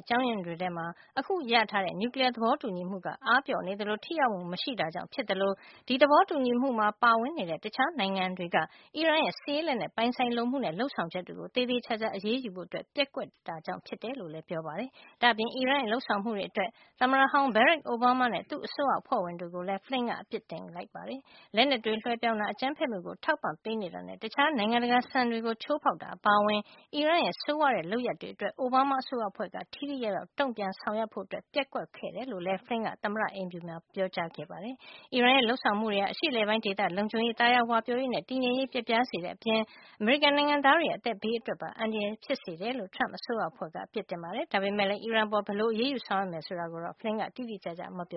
အကြောင်းရင်းတွေထဲမှာ အခုရရှိထားတဲ့ နျူကလီယား သဘောတူညီမှုက အားပျော့နေသလို ထိရောက်မှု မရှိတာကြောင့် ဖြစ်သလို ဒီသဘောတူညီမှုမှာ ပါဝင်နေတဲ့ အခြား နိုင်ငံတွေက အီရန်ရဲ့ စစ်ရေးလက်နက် ပိုင်ဆိုင်လိုမှုနဲ့ လုပ်ဆောင်ချက်တွေကို သေသေချာချာ အရေးယူဖို့ ပျက်ကွက်ခဲ့တာကြောင့် ဖြစ်တယ်လို့လည်း ပြောပါတယ်။ ဒါ့အပြင် အီရန်ရဲ့ လုပ်ဆောင်မှုတွေအတွက် သမ္မတဟောင်း Barack Obama နဲ့ သူ့အစိုးရ အဖွဲ့ဝင်တွေကိုလည်း Flynn က အပစ်တင်ခဲ့ ပါတယ်။ လက်နက်တွေ လွှဲပြောင်းတာ၊ အကြမ်းဖက်မှုကို ထောက်ပံ့ပေးနေတာနဲ့ တခြား နိုင်ငံတကာ စံတွေကို ချိုးဖေါက်တာ အပါအဝင် အီရန်ရဲ့ ဆိုးဝါးတဲ့ လုပ်ရပ်တွေအတွက် အိုဘားမား အစိုးရအဖွဲ့က ထိထိရောက်ရောက်တုန့်ပြန် ဆောင်ရွက်ဖို့ ပျက်ကွက်ခဲ့တယ်လို့ လည်း Flynn က သမ္မတအိမ်ဖြူမှာ ပြောကြားခဲ့တာပါ။ အီရန်ရဲ့ လုပ်ဆောင်မှုတွေဟာ အရှေ့အလယ်ပိုင်း ဒေသ လုံခြုံရေး၊ သာယာဝပြောရေးနဲ့ တည်ငြိမ်ရေးကို ပျက်ပြားစေတဲ့အပြင် အမေရိကန် နိုင်ငံသားတွေရဲ့ အသက်ဘေးအတွက်ပါ အန္တရာယ် ဖြစ်စေတယ်လို့ Trump အစိုးရအဖွဲ့က အပစ်တင်ခဲ့ပါတယ်။ ဒါပေမယ့်လည်း အီရန်အပေါ် ဘယ်လို အရေးယူ ဆောင်ရွက်မယ် ဆိုတာကိုတော့ Flynn က တိတိကျကျ မပြော